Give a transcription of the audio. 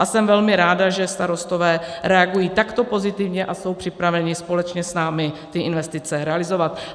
A jsem velmi ráda, že starostové reagují takto pozitivně a jsou připraveni společně s námi ty investice realizovat.